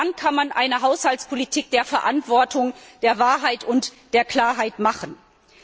Nur dann kann man eine Haushaltspolitik der Verantwortung, der Wahrheit und der Klarheit betreiben.